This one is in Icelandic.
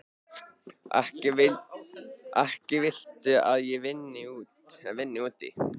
Ekki viltu að ég vinni úti.